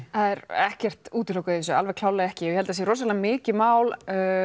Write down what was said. er ekkert útilokað í þessu alveg klárlega ekki og ég held það sé rosalega mikið mál